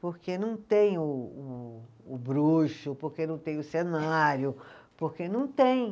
Porque não tem o o o bruxo, porque não tem o cenário, porque não tem.